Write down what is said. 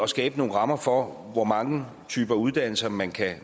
skabe nogle rammer for hvor mange typer uddannelser man kan